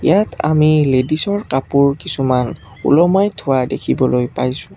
ইয়াত আমি লেডিছৰ কাপোৰ কিছুমান ওলমাই থোৱা দেখিবলৈ পাইছোঁ।